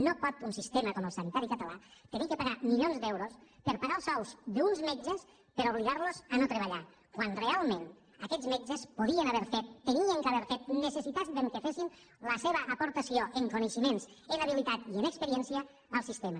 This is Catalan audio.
no pot un sistema com el sanitari català haver de pagar milions d’euros per a pagar els sous d’uns metges per obligar los a no treballar quan realment aquests metges podien haver fet havien d’haver fet necessitàvem que fessin la seva aportació en coneixements en habilitat i en experiència al sistema